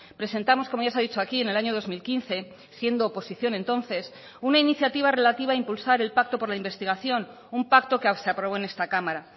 presentamos como ya se ha dicho aquí en el año dos mil quince siendo oposición entonces una iniciativa relativa a impulsar el pacto por la investigación un pacto que se aprobó en esta cámara